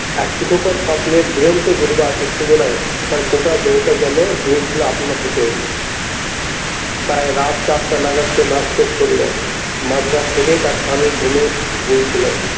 এক সুখকর স্বপ্নের দুরন্ত দুরবার উত্তেজনায় তার গোটা দেহটা যেন দুলছিল আপনা থেকেই প্রায় রাত চারটা নাগাদ সে নাচ শেষ করলো মাঝ রাত থেকেই তার স্বামী ঘুমে ঢুলছিল।